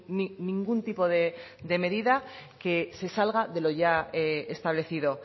ni ningún tipo de medida que se salga de lo ya establecido